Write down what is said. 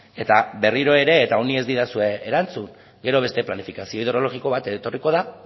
eta berriro ere eta honi ez didazue erantzun gero beste planifikazio hidrologiko bat etorriko da